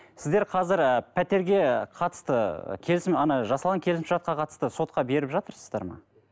сіздер қазір ы пәтерге қатысты келісім жасалған келісімшартқа қатысты сотқа беріп жатырсыздар ма